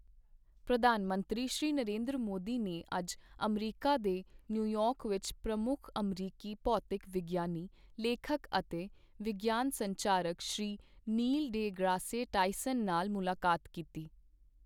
ਪ੍ਰਧਾਨ ਮੰਤਰੀ, ਸ਼੍ਰੀ ਨਰਿੰਦਰ ਮੋਦੀ ਨੇ ਅੱਜ ਅਮਰੀਕਾ ਦੇ ਨਿਊਯਾਰਕ ਵਿੱਚ ਪ੍ਰਮੁੱਖ ਅਮਰੀਕੀ ਭੌਤਿਕ ਵਿਗਿਆਨੀ, ਲੇਖਕ ਅਤੇ ਵਿਗਿਆਨ ਸੰਚਾਰਕ Shri Neil de Grasse Tyson ਨਾਲ ਮੁਲਾਕਾਤ ਕੀਤੀ।